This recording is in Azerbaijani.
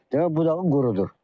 Demək budağın qurudur.